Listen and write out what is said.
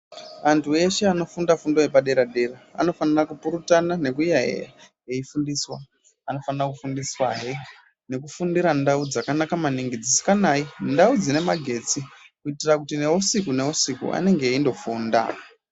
Antu eshe anofunda fundo yepadera-dera anofana kupurutana nekuyaiya eifundiswa. Anofanira kufundiswahe nekufundira ndau dzakanaka maningi dzisikanai ndau dzine magetsi. Kuitira kuti neusiku neusiku anenge eindofunda.